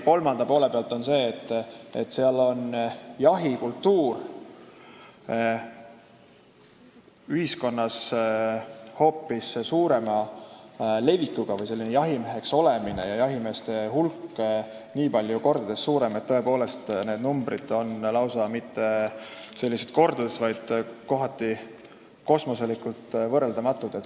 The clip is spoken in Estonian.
Kolmandaks see, et seal on jahikultuur ühiskonnas hoopis suurema levikuga või jahimeheks olemine on rohkem levinud ja jahimeeste hulk nii palju kordi suurem, et tõepoolest ei erine need numbrid mitte kordades, vaid on kohati lausa kosmoselikult võrreldamatud.